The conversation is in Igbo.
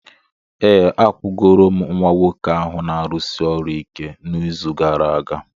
Ee, akwụgoro m nwa nwoke ahụ na-arụsi ọrụ ike n'izu gara aga.